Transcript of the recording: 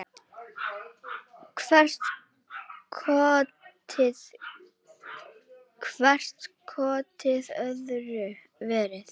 Hvert kotið öðru verra.